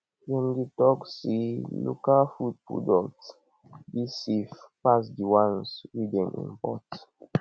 dem dey tok sey local food products dey safe pass di ones wey dem import